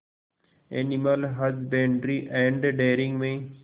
animal husbandry and dairying में